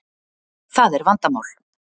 Það er vandamál.